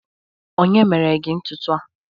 onye mere gi ntutu a?